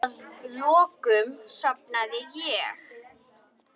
Að lokum sofnaði ég.